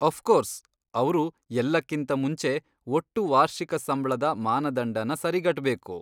Of course, ಅವ್ರು ಎಲ್ಲಕ್ಕಿಂತ ಮುಂಚೆ ಒಟ್ಟು ವಾರ್ಷಿಕ ಸಂಬ್ಳದ ಮಾನದಂಡನ ಸರಿಗಟ್ಬೇಕು.